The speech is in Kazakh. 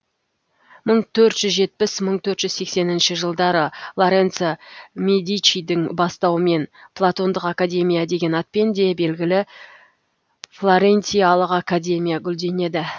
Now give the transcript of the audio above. мың төрт жүз жетпіс мың төрт жүз сексенінші жылдары лоренцо медичидің бастауымен платондық академия деген атпен де белгілі флорентиялық академия гүлденеді